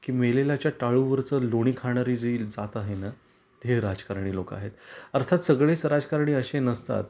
की मेलेल्याच्या टाळूवरच लोणी खाणारी जी जात आहेना ते हे राजकारणी लोक आहेत. अर्थात सगळेच राजकारणी अशे नसतात,